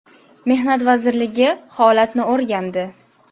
Mehnat vazirligi holatni o‘rgandi.